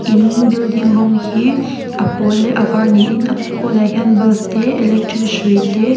in building rawng hi a pawl leh a var ni in a pawnah hian bulb te electric hrui te--